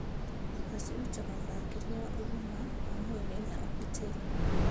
Nyũmba cirutaga ũrangĩria wa ũgima wa mwĩrĩ na ũgitĩri.